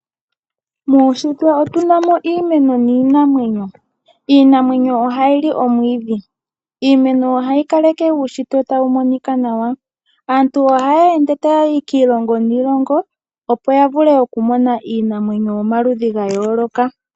Muushitwe otu na mo iimeno niinamwenyo, iinamwenyo ohayi omwiidhi. Iimeno ohayi kaleke uushitwe tawu monika nawa, aantu ohaya ende taya yi kiilongo niilongo opo ya vule okumona iinamwenyo yomaludhi ga yooloka.